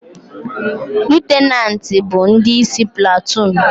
Lutenanti bu ndi isi platoon